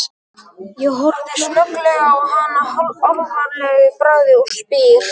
Ég horfi snögglega á hana alvarlegur í bragði og spyr